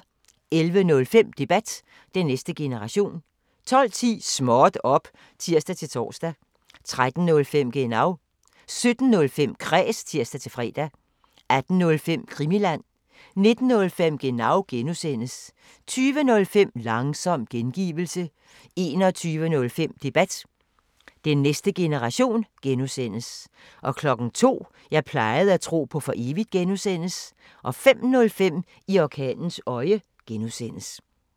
11:05: Debat: Den næste generation 12:10: Småt op! (tir-tor) 13:05: Genau 17:05: Kræs (tir-fre) 18:05: Krimiland 19:05: Genau (G) 20:05: Langsom gengivelse 21:05: Debat: Den næste generation (G) 02:00: Jeg plejede at tro på for evigt (G) 05:05: I orkanens øje (G)